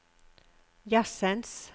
jazzens